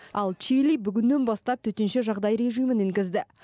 ал чили бүгіннен бастап төтенше жағдай режимін енгізді